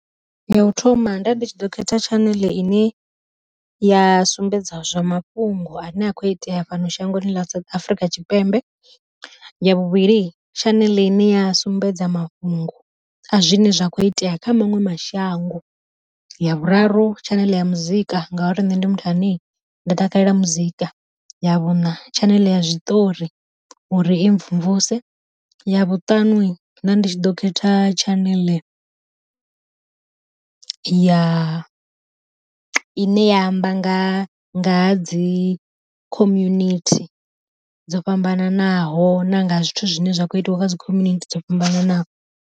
Ya u thoma nda ndi tshi ḓo khetha tshaneḽe ine ya sumbedza zwa mafhungo ane a kho iteya fhano shangoni ḽa Afrika Tshipembe, ya vhuvhili tshaneḽe ine ya sumbedza mafhungo a zwine zwa kho itea kha maṅwe mashango. Ya vhuraru tshaneḽe ya muzika ngauri nṋe ndi muthu ane nda takalela muzika, ya vhuṋa tshaneḽe ya zwiṱori uri i mvumvuse, ya vhuṱanu nda ndi tshi ḓo khetha tshaneḽe ya i ne ya amba nga nga dzi community dzo fhambananaho na nga zwithu zwine zwa kho itiwa nga dzi khominithi dzo fhambananaho.